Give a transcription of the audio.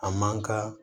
A man ka